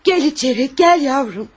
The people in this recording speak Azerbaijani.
Gəl içəri, gəl yavrum.